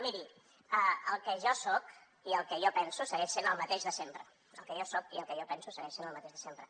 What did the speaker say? miri el que jo soc i el que jo penso segueix sent el mateix de sempre el que jo soc i el que jo penso segueix sent el mateix de sempre